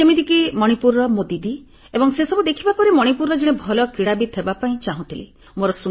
ଯେମିତିକି ମଣିପୁରର ମୋ ଦିଦି ଏବଂ ସେସବୁ ଦେଖିବା ପରେ ମଣିପୁରର ଜଣେ ଭଲ କ୍ରୀଡ଼ାବିତ୍ ହେବାପାଇଁ ଚାହୁଁଥିଲି